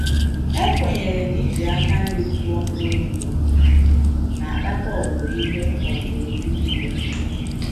E kwenyere na-iji aka nri kụọ mkpụrụ mbụ na-akpata owuwe ihe owuwe ihe ubi dị nma